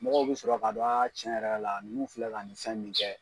Mɔgɔw bɛ sɔrɔ k'a dɔn tiɲɛ yɛrɛ la nunnu filɛ ka nin fɛn min kɛ